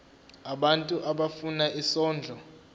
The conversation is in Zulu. abantu abafuna isondlo